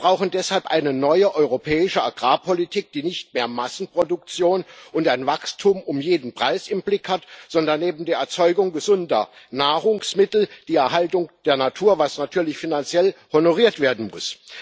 Wir brauchen deshalb eine neue europäische Agrarpolitik, die nicht mehr Massenproduktion und ein Wachstum um jeden Preis im Blick hat, sondern eben die Erzeugung gesunder Nahrungsmittel, die Erhaltung der Natur was natürlich finanziell honoriert werden muss.